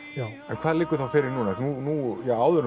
en hvað liggur þá fyrir núna nú ja áður en